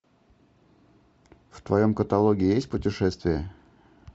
в твоем каталоге есть путешествия